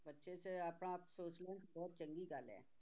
ਬੱਚੇ ਜੇ ਆਪਣਾ ਆਪ ਸੋਚ ਲੈਣ ਤੇ ਬਹੁਤ ਚੰਗੀ ਗੱਲ ਹੈ